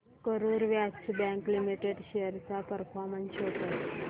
Karur Vysya Bank Limited shares चा performance show कर